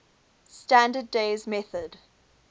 standard days method